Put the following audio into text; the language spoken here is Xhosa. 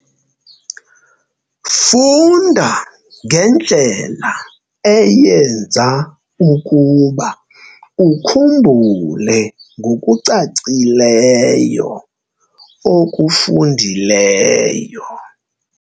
Funda ngendlela eyenza ukuba ukhumbule ngokucacileyo okufundileyo.